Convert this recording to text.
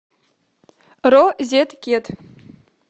розеткед